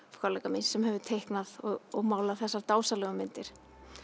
kollega míns sem hefur teiknað og málað þessar dásamlegu myndir